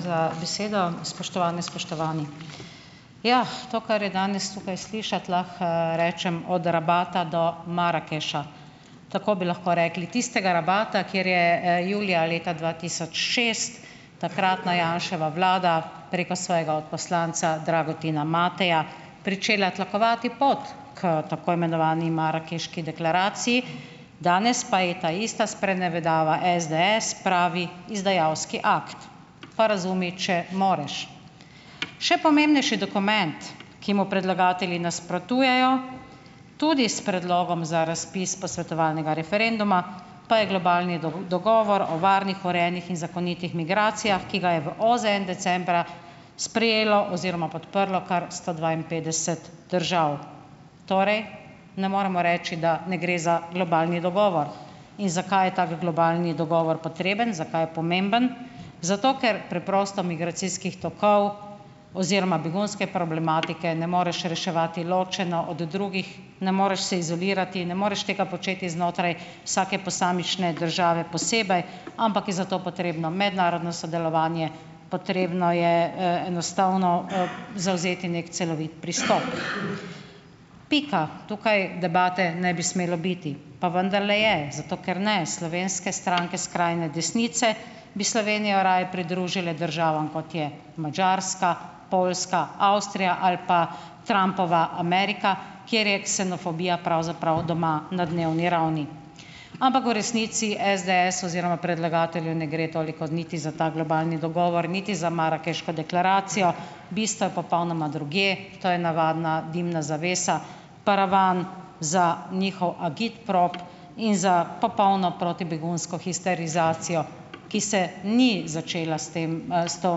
za besedo. Spoštovane, spoštovani! Ja, to kar je danes tukaj slišati, lahko, rečem od Rabata do Marakeša. Tako bi lahko rekli: "Tistega Rabata, kjer je, julija leta dva tisoč šest takratna Janševa vlada preko svojega odposlanca Dragutina Mateja pričela tlakovati pot k tako imenovani marakeški deklaraciji, danes pa je ta ista sprenevedava SDS pravi "izdajalski akt"." Pa razumi, če moreš. Še pomembnejši dokument, ki mu predlagatelji nasprotujejo tudi s predlogom za razpis posvetovalnega referenduma, pa je globalni dogovor o varnih urejenih in zakonitih migracijah, ki ga je v OZN decembra sprejelo oziroma podprlo kar sto dvainpetdeset držav. Torej? Ne moremo reči, da ne gre za globalni dogovor. In zakaj je tak globalni dogovor potreben, zakaj je pomemben? Zato ker preprosto migracijskih tokov oziroma begunske problematike ne moreš reševati ločeno od drugih, ne moreš se izolirati, ne moreš tega početi znotraj vsake posamične države posebej, ampak je za to potrebno mednarodno sodelovanje, potrebno je, enostavno, zavzeti neki celovit pristop. Pika, tukaj debate ne bi smelo biti, pa vendarle je, zato ker, ne, slovenske stranke skrajne desnice bi Slovenijo raje pridružile državam, kot je Madžarska, Poljska, Avstrija ali pa Trumpova Amerika, kjer je ksenofobija pravzaprav doma na dnevni ravni. Ampak v resnici SDS oziroma predlagatelju ne gre toliko niti za ta globalni dogovor, niti za marakeško deklaracijo, bistvo je popolnoma drugje - to je navadna dimna zavesa, paravan za njihov agitprop in za popolno protibegunsko "histerizacijo", ki se ni začela s tem, s to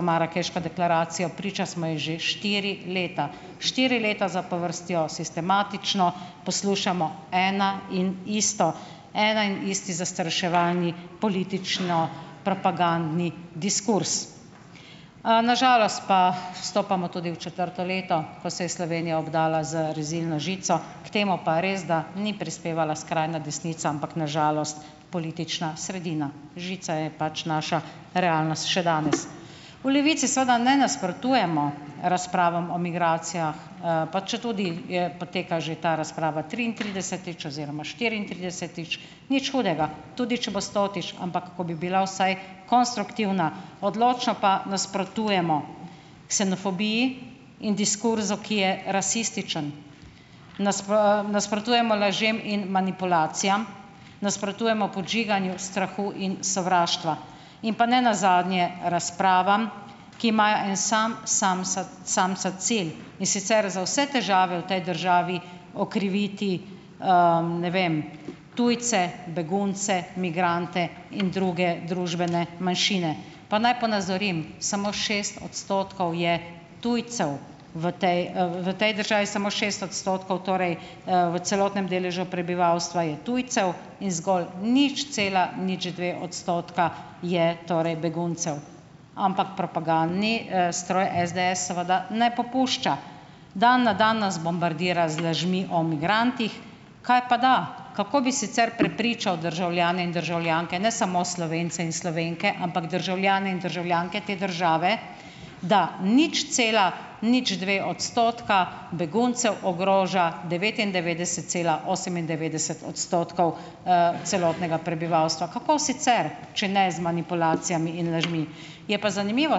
marakeško deklaracijo. Priča smo ji že štiri leta. Štiri leta zapovrstjo sistematično poslušamo eno in isto. En in isti zastraševalni političnopropagandni diskurz. Na žalost pa stopamo tudi v četrto leto, ko se je Slovenija obdala z rezilno žico, k temu pa res, da ni prispevala skrajna desnica, ampak na žalost politična sredina. Žica je pač naša realnost še danes. V Levici seveda ne nasprotujemo razpravam o migracijah, pa četudi je poteka že ta razprava triintridesetič oziroma štiriintridesetič, nič hudega, tudi če bo stotič, ampak, ko bi bila vsaj konstruktivna, odločno pa nasprotujemo ksenofobiji in diskurzu, ki je rasističen. nasprotujemo lažem in manipulacijam. Nasprotujemo podžiganju strahu in sovraštva. In pa ne nazadnje razpravam, ki imajo en sam, samsat samcat cilj, in sicer za vse težave v tej državi okriviti, ne vem, tujce, begunce, migrante in druge družbene manjšine. Pa naj ponazorim - samo šest odstotkov je tujcev v tej, v tej državi samo šest odstotkov, torej, v celotnem deležu prebivalstva je tujcev in zgolj nič cela nič dve odstotka je torej beguncev, ampak propagandni, stroj SDS seveda ne popušča. Dan na dan nas bombardira z lažmi o migrantih. Kajpada, kako bi sicer prepričal državljane in državljanke, ne samo Slovence in Slovenke, ampak državljane in državljanke te države, da nič cela nič dve odstotka beguncev ogroža devetindevetdeset cela osemindevetdeset odstotkov, celotnega prebivalstva. Kako sicer, če ne z manipulacijami in lažmi? Je pa zanimivo,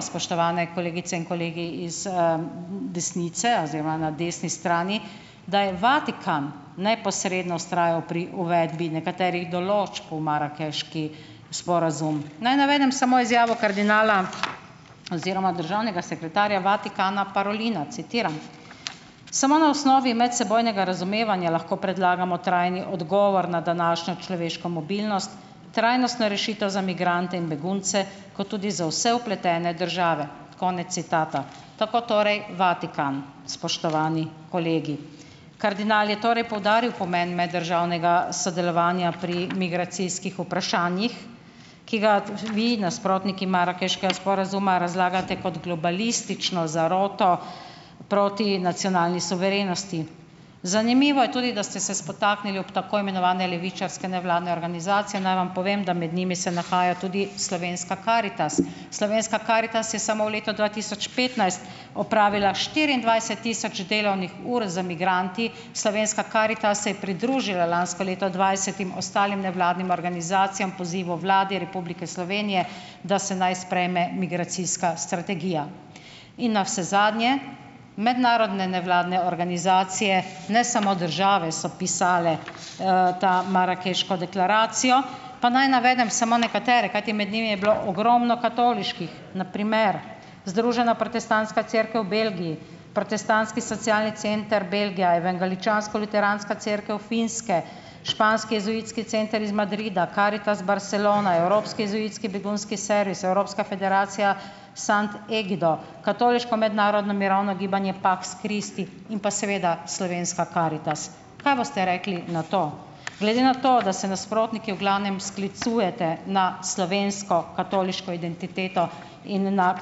spoštovane kolegice in kolegi iz, desnice oziroma na desni strani, da je Vatikan neposredno vztrajal pri uvedbi nekaterih določb v marakeški sporazum. Naj navedem samo izjavo kardinala oziroma državnega sekretarja Vatikana, Parolina, citiram: "Samo na osnovi medsebojnega razumevanja lahko predlagamo trajni odgovor na današnjo človeško mobilnost, trajnostno rešitev za migrante in begunce kot tudi za vse vpletene države." Konec citata. Tako torej Vatikan, spoštovani kolegi. Kardinal je torej poudaril pomen meddržavnega sodelovanja pri migracijskih vprašanjih, ki ga, vi, nasprotniki marakeškega sporazuma, razlagate kot "globalistično" zaroto proti nacionalni suverenosti. Zanimivo je tudi, da ste se spotaknili ob tako imenovane levičarske nevladne organizacije. Naj vam povem, da med njimi se nahaja tudi slovenska Karitas. Slovenska Karitas je samo v letu dva tisoč petnajst opravila štiriindvajset tisoč delovnih ur z migranti, slovenska Karitas se je pridružila lansko leto dvajsetim ostalim nevladnim organizacijam, pozivu Vlade Republike Slovenije, da se naj sprejme migracijska strategija. In navsezadnje, mednarodne nevladne organizacije, ne samo države, so pisali, ta, marakeško deklaracijo. Pa naj navedem samo nekatere, kajti med njimi je bilo ogromno katoliških, na primer, Združena protestantska cerkev v Belgiji, Protestantski socialni center Belgija, Evangeličansko-luteranska cerkev Finske, Španski jezuitski center iz Madrida, Karitas Barcelona, Evropski jezuitski begunski servis, evropska federacija Sant Egido, Katoliško mednarodno mirovno gibanje Pax Christi in pa seveda slovenska Karitas. Kaj boste rekli na to? Glede na to, da se nasprotniki v glavnem sklicujete na slovensko katoliško identiteto in na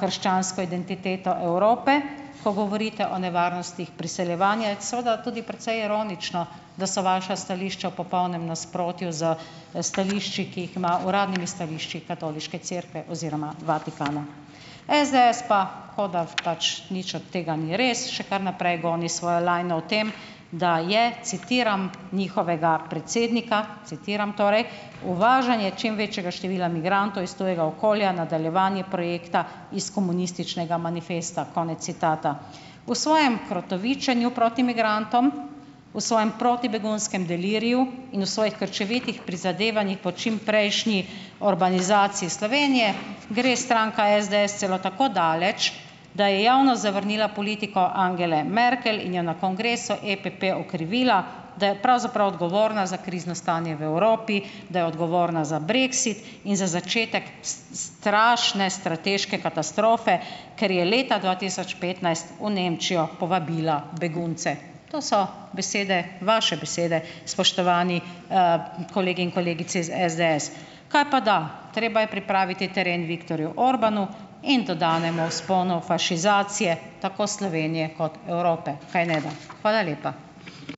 krščansko identiteto Evrope, ko govorite o nevarnostih priseljevanja, je seveda tudi precej ironično, da so vaša stališča v popolnem nasprotju s, stališči, ki jih ima uradnimi stališči katoliške cerkve oziroma Vatikana. SDS pa kot da pač nič od tega ni res, še kar naprej goni svojo lajno v tem, da je - citiram njihovega predsednika, citiram torej: "Uvažanje čim večjega števila migrantov iz tujega okolja, nadaljevanje projekta iz Komunističnega manifesta." Konec citata. V svojem krotovičenju proti migrantom, v svojem protibegunskem deliriju in v svojih krčevitih prizadevanjih po čim prejšnji "orbánizaciji" Slovenije, gre stranka SDS celo tako daleč, da je javno zavrnila politiko Angele Merkel in jo na Kongresu EPP okrivila, da je pravzaprav odgovorna za krizno stanje v Evropi, da je odgovorna za brexit in za začetek strašne strateške katastrofe, ker je leta dva tisoč petnajst v Nemčijo povabila begunce. To so besede, vaše besede, spoštovani, kolegi in kolegice iz SDS. Kaj pa da, treba je pripraviti teren Viktorju Orbánu in dodanemu vzponu "fašizacije", tako Slovenije kot Evrope, kajneda? Hvala lepa.